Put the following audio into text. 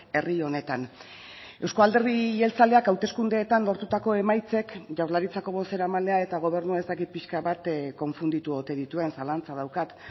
herri honetan euzko alderdi jeltzaleak hauteskundeetan lortutako emaitzek jaurlaritzako bozeramailea eta gobernua ez dakit pixka bat konfunditu ote dituen zalantza daukat